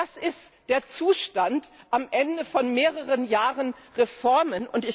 Das ist der Zustand am Ende von mehreren Jahren Reformen.